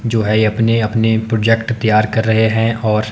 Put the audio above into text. जो है अपने अपने प्रोजेक्ट तैयार कर रहे हैं और--